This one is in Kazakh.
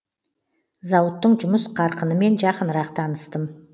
зауыттың жұмыс қарқынымен жақынырақ таныстым